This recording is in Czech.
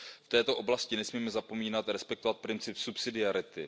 V této oblasti nesmíme zapomínat respektovat princip subsidiarity.